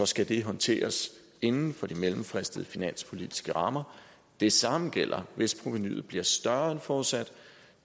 skal det håndteres inden for de mellemfristede finanspolitiske rammer det samme gælder hvis provenuet bliver større end forudsat